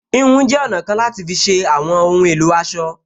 Híhun jẹ́ ọ̀nà kan láti fi ṣe àwọn ohun èlò aṣọ